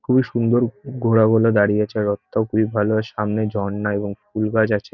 খুবই সুন্দর ঘোড়াগুলো দাঁড়িয়ে আছে রথটাও খুবই ভালো। সামনে ঝরনা এবং ফুল গাছ আছে।